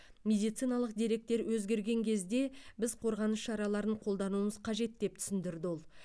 медициналық деректер өзгерген кезде біз қорғаныс шараларын қолдануымыз қажет деп түсіндірді ол